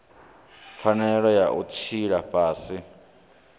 pfanelo ya u tshila fhasi